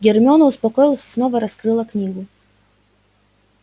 гермиона успокоилась и снова раскрыла книгу